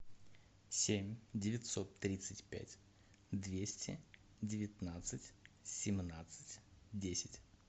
семь девятьсот тридцать пять двести девятнадцать семнадцать десять